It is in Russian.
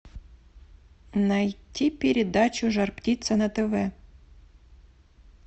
найти передачу жар птица на тв